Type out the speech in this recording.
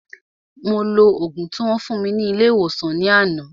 Mo lo ògùn tí wón fún mi ní ilé ìwòsàn ní àná